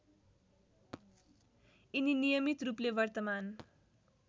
यिनी नियमितरूपले वर्तमान